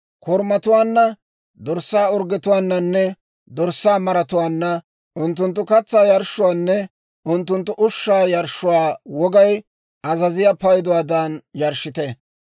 Korumatuwaanna, dorssaa orggetuwaananne dorssaa maratuwaanna unttunttu katsaa yarshshuwaanne unttunttu ushshaa yarshshuwaa wogay azaziyaa payduwaadan yarshshite.